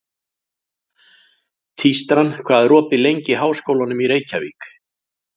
Tístran, hvað er opið lengi í Háskólanum í Reykjavík?